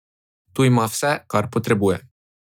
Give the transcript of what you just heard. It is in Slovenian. Tu ima vse, kar potrebuje.